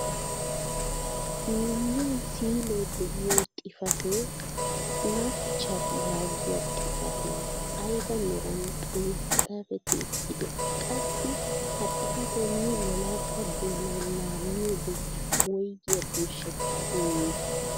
Miyiyaan siilee de'iyo xifatee "snapchat" yaagiyaa xifatee ayba meran xaafetti uttidee? qassi ha xifatee nu wolaytta doonawu laammiyoode woygiyaa birshshettaa immii?